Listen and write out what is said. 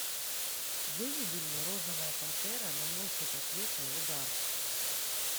выведи мне розовая пантера наносит ответный удар